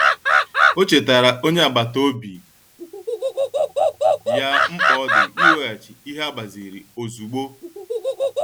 Ọ chetaara onye agbata obi ya mkpa ọ dị iweghachi ihe e gbaziri ozugbo.